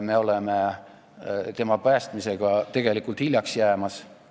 Me oleme tema päästmisega tegelikult hiljaks jäämas.